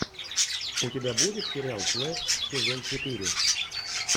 у тебя будет сериал флеш сезон четыре